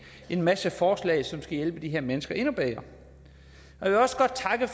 en masse forslag som skal hjælpe de her mennesker endnu bedre jeg vil også godt takke